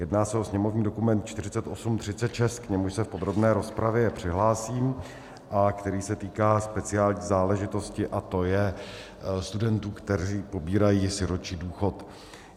Jedná se o sněmovní dokument 4836, k němuž se v podrobné rozpravě přihlásím a který se týká speciální záležitosti, a to je studentů, kteří pobírají sirotčí důchod.